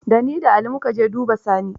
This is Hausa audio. Da ni da Ali mu ka je duba Sani.